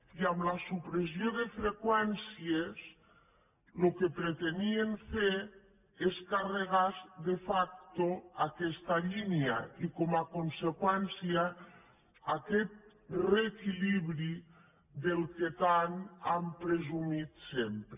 i amb la supressió de freqüències el que pretenien fer és carregar se de facto aquesta línia i com a conseqüència aquest reequilibri de què tant han presumit sempre